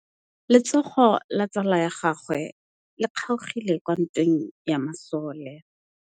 Letsôgô la tsala ya gagwe le kgaogile kwa ntweng ya masole.